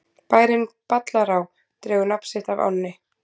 Bærinn Ballará dregur nafn sitt af ánni.